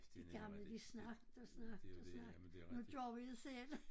De gamle de snakkede og snakkede og snakkede nu gør vi det selv